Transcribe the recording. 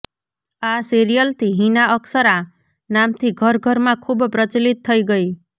આ સિરિયલથી હિના અક્ષરાં નામથી ઘર ઘરમાં ખૂબ પ્રચલિત થઈ ગઈ